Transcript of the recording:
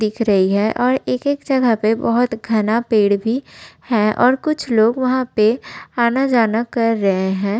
दिख रही है और एक-एक जगह पे बहोत घना पेड़ भी हैं और कुछ लोग वहाँ पे आना जाना कर रहे हैं।